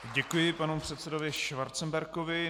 Děkuji panu předsedovi Schwarzenbergovi.